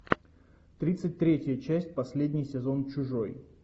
тридцать третья часть последний сезон чужой